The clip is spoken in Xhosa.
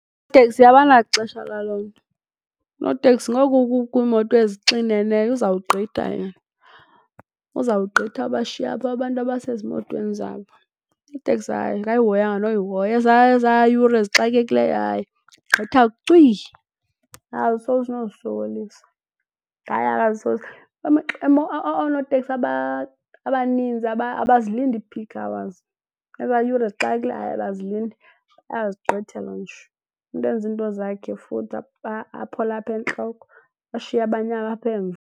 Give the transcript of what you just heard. abanaxesha lalo nto. Unoteksi ngoku kukho iimoto ezixineneyo uzawugqitha yena, uzawugqitha abashiye apho abantu abasezimotweni zabo. Iteksi, hayi, akayihoyanga noyihoya eza yure zixakekile, hayi, gqitha cwi. Akazisokolisi nozisokolisa. Hayi . Oonoteksi abaninzi abazilindi ii-peak hours. Eza yure zixakekileyo, hayi, abazilindi, bayazigqitha nje, umntu enze izinto zakhe futhi aphole apha entloko ashiye abanye apha emva.